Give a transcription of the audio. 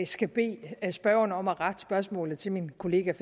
skal bede spørgeren om at rette spørgsmålet til min kollega